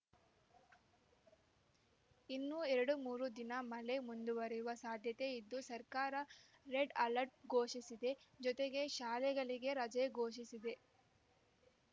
ಇನ್ನೂ ಎರಡು ಮೂರು ದಿನ ಮಳೆ ಮುಂದುವರೆಯುವ ಸಾಧ್ಯತೆ ಇದ್ದು ಸರ್ಕಾರ ರೆಡ್ ಅಲರ್ಟ್‌ ಘೋಷಿಸಿದೆ ಜೊತೆಗೆ ಶಾಲೆಗಳಿಗೆ ರಜೆ ಘೋಷಿಸಿದೆ